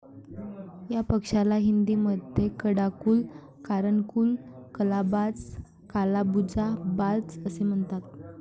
या पक्षाला हिंदी मध्ये कडाकुल, कारणकुल, कला बाज, कालाबुजा, बाज असे म्हणतात.